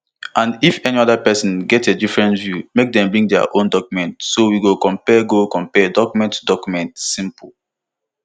and if any oda pesin get a different view make dem bring dia own document so we go compare go compare document to document simple